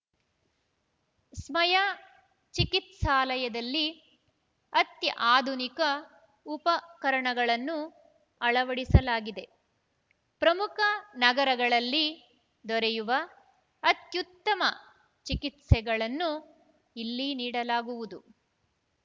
ಸ್ಮಯಾ ಚಿಕಿತ್ಸಾಲಯದಲ್ಲಿ ಅತ್ಯಾಧುನಿಕ ಉಪಕರಣಗಳನ್ನು ಅಳವಡಿಸಲಾಗಿದೆ ಪ್ರಮುಖ ನಗರಗಳಲ್ಲಿ ದೊರೆಯುವ ಅತ್ಯುತ್ತಮ ಚಿಕಿತ್ಸೆಗಳನ್ನೂ ಇಲ್ಲಿ ನೀಡಲಾಗುವುದು